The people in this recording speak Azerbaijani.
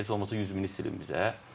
Heç olmasa 100 mini silin bizə.